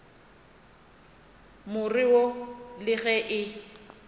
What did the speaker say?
more wo le ge e